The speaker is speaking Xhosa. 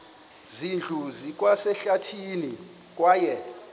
zindlu zikwasehlathini kwaye